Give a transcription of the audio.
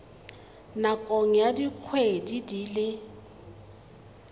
nakong ya dikgwedi di le